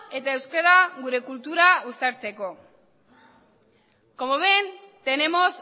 eta euskera gure kultura uztartzeko como ven tenemos